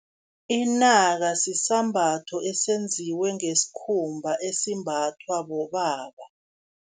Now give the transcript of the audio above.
Inaka sisambatho esenziwe ngesikhumba, esimbathwa bobaba.